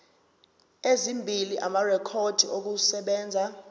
ezimbili amarekhodi okusebenza